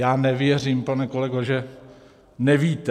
Já nevěřím, pane kolego, že nevíte.